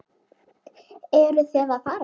Eruð þið að fara?